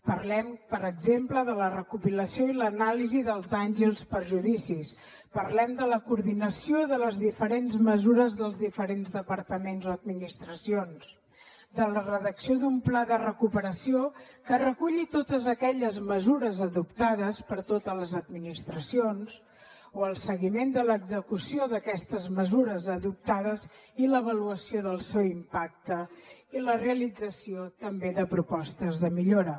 parlem per exemple de la recopilació i l’anàlisi dels danys i els perjudicis parlem de la coordinació de les diferents mesures dels diferents departaments o administracions de la redacció d’un pla de recuperació que reculli totes aquelles mesures adoptades per totes les administracions o del seguiment de l’execució d’aquestes mesures adoptades i l’avaluació del seu impacte i la realització també de propostes de millora